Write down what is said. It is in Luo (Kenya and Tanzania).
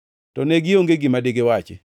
To ne gionge gima digiwachi.